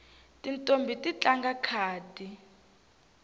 tintombhi ti tlanga khadi